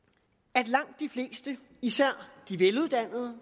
at langt de fleste især de veluddannede